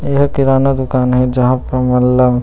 ए ह किराना दुकान हे जहाँ पे हमन ल --